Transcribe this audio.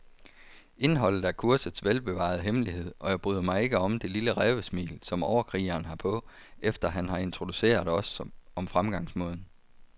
Indholdet er kursets velbevarede hemmelighed, og jeg bryder mig ikke om det lille rævesmil, som overkrigeren har på, efter han har introduceret os om fremgangsmåden.